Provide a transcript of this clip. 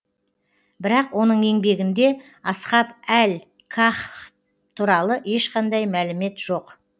бірақ оның еңбегінде асхаб әл каһф туралы ешқандай мәлімет жоқ